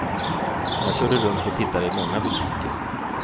Jag körde runt och tittade i många butiker.